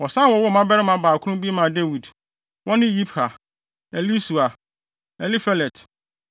Wɔsan wowoo mmabarima baakron bi maa Dawid. Wɔne Yibhar, Elisua, Elifelet,